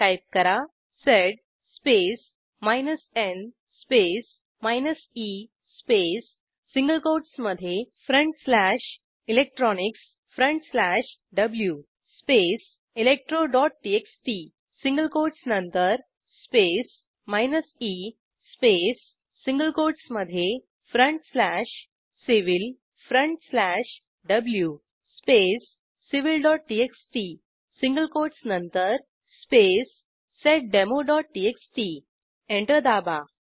type करा sed space n space e space single कोटसमधे electronicsw space electroटीएक्सटी single quotes नंतर स्पेस e स्पेस सिंगल कोटसमधे civilw space civilटीएक्सटी सिंगल कोटस नंतर स्पेस seddemoटीएक्सटी एंटर दाबा